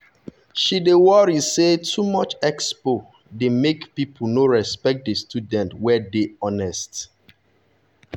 she dey worry say too much expo expo dey make people no respect the students wey dey honest.